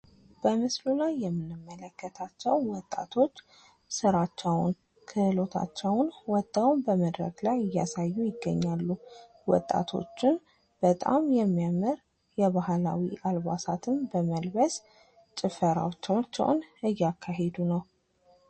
በምስሉ ላይ የምንመለከታቸው ወጣቶች ስራቸውን፣ ክህሎታቸውን ውጠው በመድረክ ላይ እያሳዩ ይገኛሉ። ወጣቶቹም በጣም የሚያምር ባህላዊ አለባበስ በመልበስ ጭፈራዎቻቸውን እያካሄድ ነው።